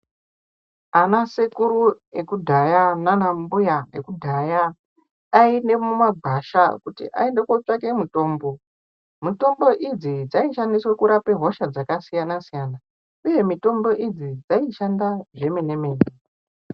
Ana sekuru ekudaya, nanambuya ekudaya ayinde mumagwasha kuti ayinde kotsvake mutombo. Mutombo idzi dzayishandiswe kurape hosha dzakasiyana siyana. Iye mitombo idzi, dzayishanda zvemene mene.